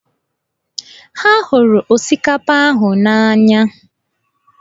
Ha hụrụ osikapa ahụ na-anya.